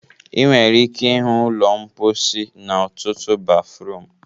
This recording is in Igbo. Ị nwere ike ịhụ ụlọ mposi n'ọtụtụ bafruum